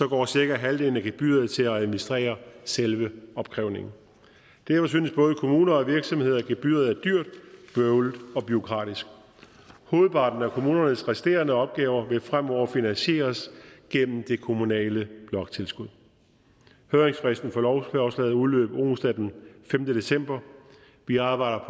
går cirka halvdelen af gebyret til at administrere selve opkrævningen derfor synes både kommuner og virksomheder at gebyret er dyrt bøvlet og bureaukratisk hovedparten af kommunernes resterende opgaver vil fremover finansieres gennem det kommunale bloktilskud høringsfristen for lovforslaget udløb onsdag den femte december vi arbejder